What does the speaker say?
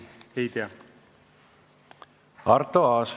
Arto Aas.